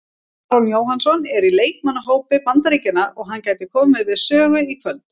Aron Jóhannsson er í leikmannahópi Bandaríkjanna og hann gæti komið við sögu í kvöld.